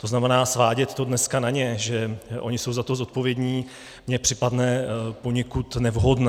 To znamená, svádět to dneska na ně, že oni jsou na to zodpovědní, mně připadne poněkud nevhodné.